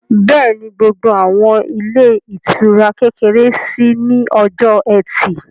Bẹ́ẹ̀ni, gbogbo àwọn ilé ìtura kékeré ṣí ní ọjọ́ ẹtì